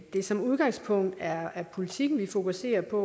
det som udgangspunkt er politikken vi fokuserer på